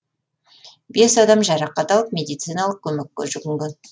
бес адам жарақат алып медициналық көмекке жүгінген